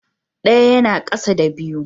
Ɗaya yana ƙasa da biyu.